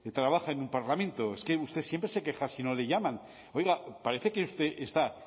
trabaja en un parlamento es que usted siempre se queja si no le llaman oiga parece que usted está